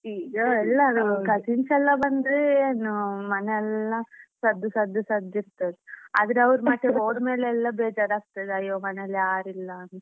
ಈಗ ಎಲ್ಲರು cousins ಎಲ್ಲ ಬಂದ್ರೆ ಏನೊ ಮನೆ ಎಲ್ಲ ಸದ್ದು ಸದ್ದು ಸದ್ದು ಇರ್ತದೆ ಆದ್ರೆ ಅವ್ರು ಮಾತ್ರ ಹೋದ್ಮೇಲೆ ಎಲ್ಲ ಬೇಜಾರ್ ಆಗ್ತದೆ ಅಯ್ಯೊ ಮನೇಲಿ ಯಾರು ಇಲ್ಲ ಅಂತ.